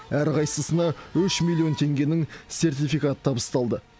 әрқайсысына үш миллион теңгенің сертификаты табысталды